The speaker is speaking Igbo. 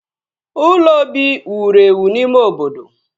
Ụlọ obi wụrụ ewụ n'ime obodo